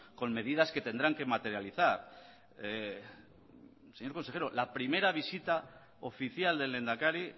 con medidas que tendrán que materializar señor consejero la primera visita oficial del lehendakari